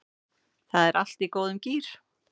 Það er allt í góðum gír